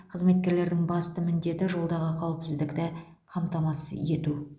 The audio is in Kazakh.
қызметкерлердің басты міндеті жолдағы қауіпсіздікті қамтамасыз ету